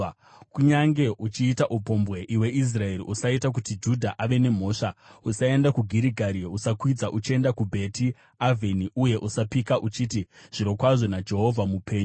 “Kunyange uchiita upombwe, iwe Israeri, usaita kuti Judha ave nemhosva. “Usaenda kuGirigari; usakwidza uchienda kuBheti Avheni. Uye usapika uchiti, ‘Zvirokwazvo naJehovha mupenyu!’